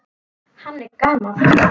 Hann er gamall.